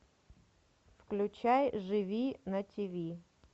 включай живи на тиви